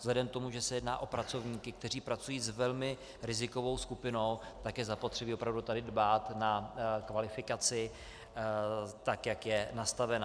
Vzhledem k tomu, že se jedná o pracovníky, kteří pracují s velmi rizikovou skupinou, tak je zapotřebí opravdu tady dbát na kvalifikaci tak, jak je nastavena.